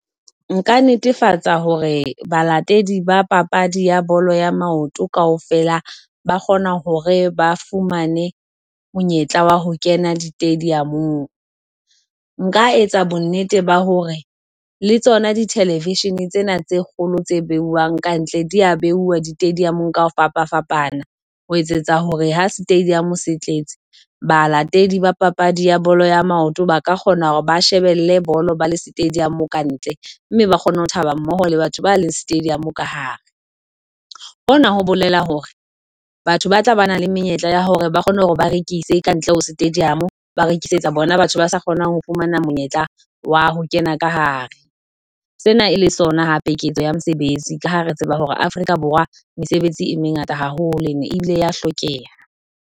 Nka netefatsa hore balatedi ba papadi ya bolo ya maoto kaofela ba kgona hore ba fumane monyetla wa ho kena di-stadium-ng. Nka etsa bonnete ba hore le tsona di-television tsena tse kgolo tse beuwang kantle di a beuwa di-stadium ka ho fapafapana ho etsetsa hore ha stadium se tletse balatedi ba papadi ya bolo ya maoto ba ka kgona hore ba shebelle bolo ba le stadium kantle mme ba kgone ho thaba mmoho le batho ba le stadium ka hare. Hona ho bolela hore batho ba tla ba bana le menyetla ya hore ba kgone hore ba rekise kantle ho stadium, ba rekisetsa bona batho ba sa kgonang ho fumana monyetla wa ho kena ka hare, sena e le sona hape ketso ya mosebetsi ka ha re tseba hore Afrika Borwa mesebetsi e mengata haholo e ne ebile ya hlokeha.